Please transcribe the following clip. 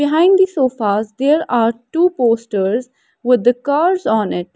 behind the sofas there are two posters with the curves on it.